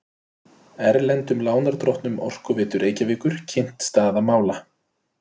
Erlendum lánardrottnum OR kynnt staða mála